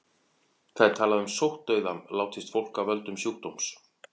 Talað er um sóttdauða látist fólk af völdum sjúkdóms.